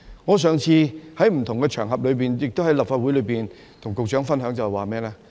我上次在不同場合，亦都在立法會與局長分享，一不留神......